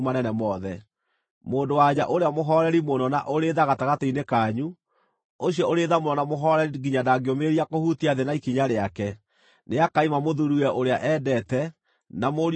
Mũndũ-wa-nja ũrĩa mũhooreri mũno na ũrĩ tha gatagatĩ-inĩ kanyu, ũcio ũrĩ tha mũno na mũhooreri nginya ndangĩũmĩrĩria kũhutia thĩ na ikinya rĩake, nĩakaima mũthuuriwe ũrĩa endete, na mũriũ kana mwarĩ,